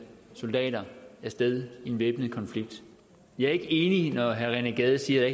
soldater af sted i en væbnet konflikt jeg er ikke enig når herre rené gade siger